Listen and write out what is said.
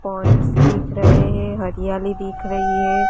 Points दिख रहे हैं हरियाली दिख रही है।